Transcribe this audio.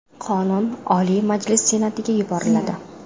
Qonun Oliy Majlis Senatiga yuboriladi.